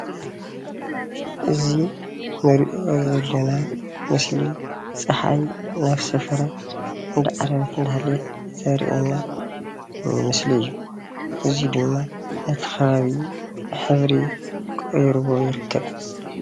እዚ እንሪኦ ዘለና ምስሊ ፀሓይ ናብ ሰፈራ እንዳዓረበት እንዳሃለወት ዘርአየና ምስሊ እዩ። እዚ ድማ ነቲ ከባቢ ሕብሪ ቀይርዎ ይርከብ።